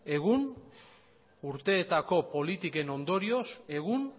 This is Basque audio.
egun urteetako politiken ondorioz egun